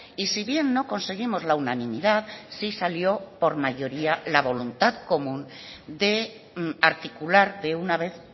y si bien no conseguimos la unanimidad sí salió por mayoría la voluntad común de articular de una vez